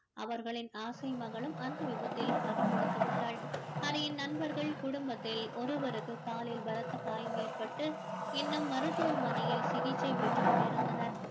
அவர்களின் ஆசை மகளும் அந்த விபத்தில் பறி கொடுத்து விட்டாள் ஹரியின் நண்பர்கள் குடும்பத்தில் ஒருவருக்கு காலில் பலத்த காயம் ஏற்பட்டு இன்னும் மருத்துவமனையில் சிகிச்சை பெற்றுக் கொண்டு இருந்தனர்